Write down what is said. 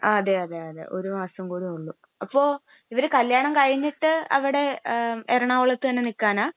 ങാ..അതേയതേയതേ, ഒരു മാസം കൂടിയേ ഉള്ളൂ. അപ്പൊ ഇവര് കല്യാണം കഴിഞ്ഞിട്ട് അവിടെ എറണാകുളത്ത് തന്നെ നിൽക്കാനാ?